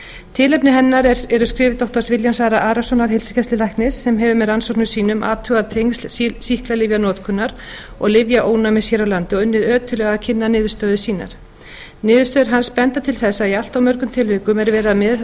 tilefni hennar eru skrif doktor ara arasonar heilsugæslulæknis sem hefur með rannsóknum sínum athugað tengsl sýklalyfjanotkunar og lyfjaónæmis hér á landi og unnið ötullega að kynna niðurstöður sínar niðurstöður hans benda til þess að í allt of mörgum tilvikum er verið að